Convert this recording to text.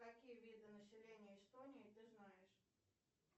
какие виды населения эстонии ты знаешь